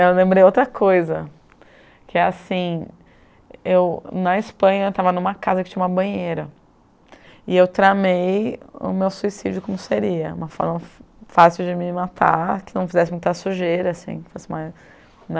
Eu lembrei outra coisa, que é assim, eu na Espanha estava em uma casa que tinha uma banheira, e eu tramei o meu suicídio como seria, uma forma fácil de me matar, que não fizesse muita sujeira, assim, que fosse mais, né?